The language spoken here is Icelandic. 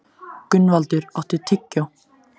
Gunnvaldur, áttu tyggjó?